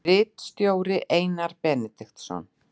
Ritstjóri Einar Benediktsson.